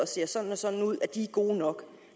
ser sådan og sådan ud er gode nok